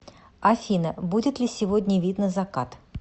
афина будет ли сегодня видно закат